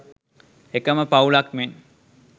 එකම පවුලක් මෙන්